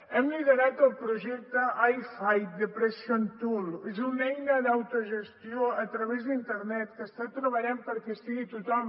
hem liderat el projecte ifightdepression tool que és una eina d’autogestió a través d’internet que està treballant perquè hi estigui tothom